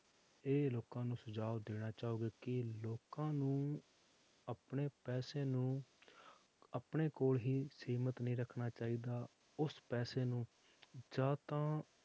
ਇਹ ਲੋਕਾਂ ਨੂੰ ਸੁਝਾਵ ਦੇਣਾ ਚਾਹੋਗੇ ਕਿ ਲੋਕਾਂ ਨੂੰ ਆਪਣੇ ਪੈਸੇ ਨੂੰ ਆਪਣੇ ਕੋਲ ਹੀ ਸੀਮਿਤ ਨਹੀਂ ਰੱਖਣਾ ਚਾਹੀਦਾ, ਉਸ ਪੈਸੇ ਨੂੰ ਜਾਂ ਤਾਂ